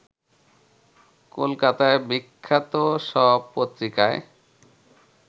কলকাতার বিখ্যাত সব পত্রিকায়